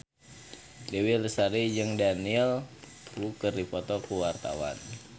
Dewi Lestari jeung Daniel Wu keur dipoto ku wartawan